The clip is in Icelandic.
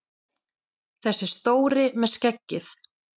Þessi stóri með skeggið!